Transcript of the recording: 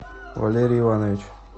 валерий иванович